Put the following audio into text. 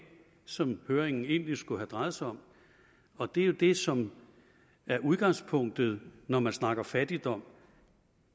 som høringen egentlig skulle have drejet sig om og det er jo det som er udgangspunktet når man snakker fattigdom